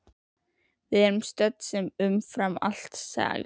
Við erum södd en umfram allt sæl.